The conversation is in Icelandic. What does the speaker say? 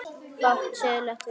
Fátt siðlegt við það?